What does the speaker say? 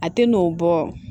A tɛ n'o bɔ